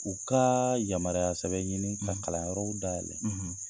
U ka yamaruya sɛbɛn ɲini ka kalanyɔrɔw dayɛlɛn.